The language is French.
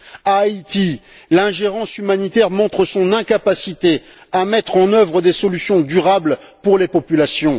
En Haïti, l'ingérence humanitaire montre son incapacité à mettre en œuvre des solutions durables pour les populations.